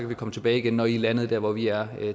vi komme tilbage igen når i er landet dér hvor vi er